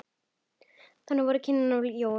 Þannig voru kynnin af Jónu.